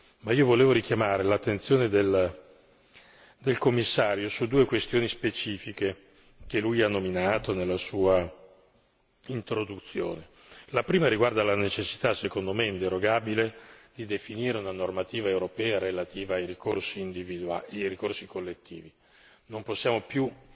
Ma io volevo richiamare l'attenzione del Commissario su due questioni specifiche, che lui ha nominato nella sua introduzione la prima, riguarda la necessità, secondo me inderogabile, di definire una normativa europea relativa ai ricorsi collettivi. Non possiamo più